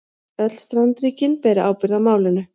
Öll strandríkin beri ábyrgð í málinu